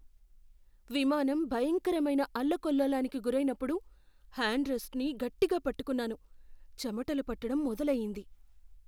విమానం భయంకరమైన అల్లకల్లోలానికి గురైనప్పుడు హ్యాండ్ రెస్టుని గట్టిగా పట్టుకున్నాను, చెమటలు పట్టటం మొదలయ్యింది.